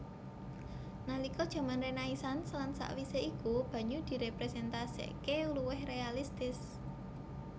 Nalika jaman Renaisans lan sawisé iku banyu diréprésentasikaké luwih réalistis